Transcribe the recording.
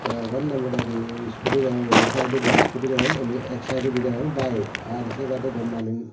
egon ne moda mudi iskudi degong inni saidodi iskudi degong indi ek saidodi degong bayek ar sei badey daw manuj.